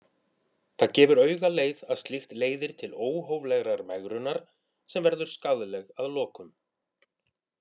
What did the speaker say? Það gefur augaleið að slíkt leiðir til óhóflegrar megrunar sem verður skaðleg að lokum.